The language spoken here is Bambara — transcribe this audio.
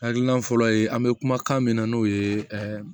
Hakilina fɔlɔ ye an bɛ kumakan mina n'o ye